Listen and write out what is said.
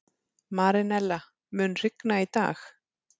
Marínella, mun rigna í dag?